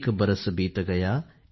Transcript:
एक बरस बीत गया